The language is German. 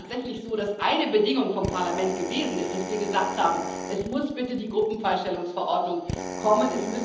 Und es ist tatsächlich so, dass eine Bedingung vom Parlament gewesen ist, dass wir gesagt haben Es muss bitte die Gruppenfreistellungsverordnung kommen.